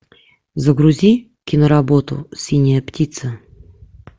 загрузи киноработу синяя птица